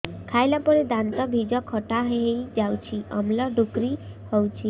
ଖାଇଲା ପରେ ଦାନ୍ତ ଜିଭ ଖଟା ହେଇଯାଉଛି ଅମ୍ଳ ଡ଼ୁକରି ହଉଛି